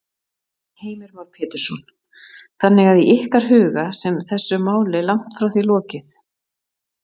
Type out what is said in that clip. Heimir Már Pétursson: Þannig að í ykkar huga sem þessu máli langt því frá lokið?